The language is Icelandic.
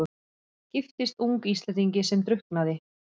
Giftist ung Íslendingi sem drukknaði.